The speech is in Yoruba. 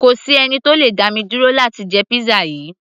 kò sí ẹni tó le dá mi dúró láti jẹ pizza yìí